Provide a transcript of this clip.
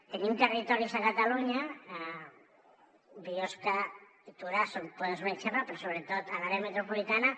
tenim territoris a catalunya biosca i torà en poden ser un exemple però sobretot a l’àrea metropolitana